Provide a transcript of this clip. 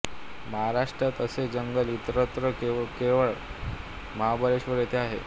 महाराष्ट्रात असे जंगल इतरत्र केवळ महाबळेश्वर येथे आहे